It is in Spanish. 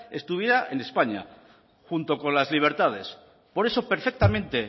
estuviera en españa junto con las libertades por eso perfectamente